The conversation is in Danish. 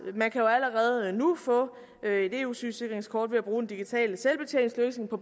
man kan jo allerede nu få et eu sygesikringskort ved at bruge den digitale selvbetjeningsløsning på